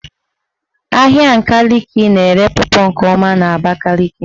Ahịa Nkaliki na-ere pọpọ nke ọma n''Abakaliki.